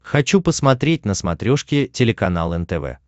хочу посмотреть на смотрешке телеканал нтв